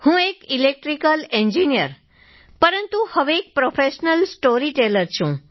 હું એક electrical engineer પરંતુ હવે એક પ્રોફેશનલ સ્ટોરીટેલર છું